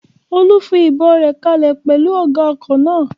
Olú fi ìbọn rẹ̀ kalẹ̀ pẹ̀lú ọ̀gá ọkọ̀ náà